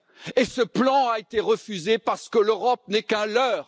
Et ce plan a été refusé parce que l'Europe n'est qu'un leurre!